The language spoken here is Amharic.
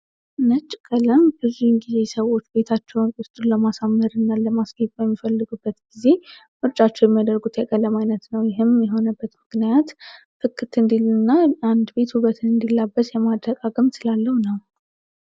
ነጭ ቀለም ብዙውን ጊዜ ሰዎች ቤታቸው ውስጡን ለማሳምህር እና ለማስከት በሚፈልጉበት ጊዜ ምርጫቸው የሚያደርጉት የቀለም ዓይነት ነው። ይህም የሆነበት ምክናያት ክክት እንዲልና አንድ ቤት ሁበትን እንዲላበት የማደግምት ስላለው ነው።